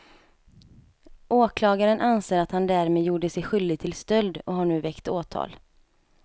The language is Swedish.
Åklagaren anser att han därmed gjorde sig skyldig till stöld och har nu väckt åtal.